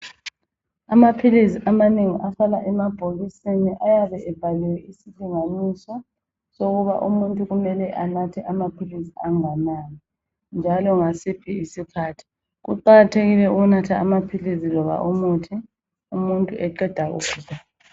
Amaphilisi amanengi ahlala emabhokisini ayabe ebhaliwe isilinganiso sokuba umuntu kumele anathe amaphilisi anganani njalo ngasiphi isikhathi. Kuqakathekile ukunatha amaphilisi loba umuthi umuntu eqeda kudla.